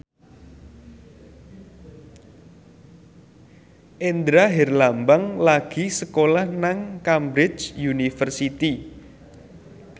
Indra Herlambang lagi sekolah nang Cambridge University